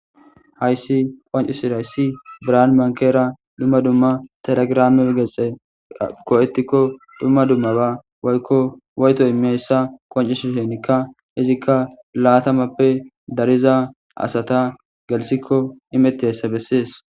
Hayssi qonccisizaysi biran bankera dumma dumma telegiram gexe go'etiko dumma dumma ba woyko woyto immiyaysa qoncisisheneka izika laatamappe dariza asata gelthiko imetizaysa bessees.